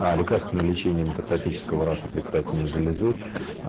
а лекарственное лечение метастатического рака предстательной железы